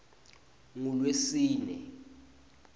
ngulwesine